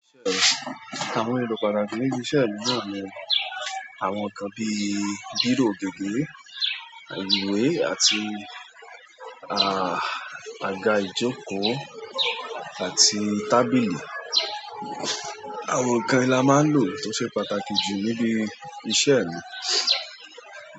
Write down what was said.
Àwọn èlò pàtàkì níbi iṣẹ́ yìí, àwọn nǹkan bíi bírò gígé, ìwé àti, ah, àga ìjókòó àti tábìlì. Àwọn nǹkan yìí la máa ń lò tó ṣe pàtàkì jù níbi iṣẹ́ yìí.